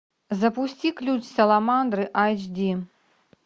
запусти ключ саламандры айч ди